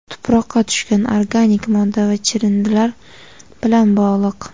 tuproqqa tushgan organik modda va chirindilar bilan bog‘liq.